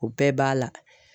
O bɛɛ b'a la.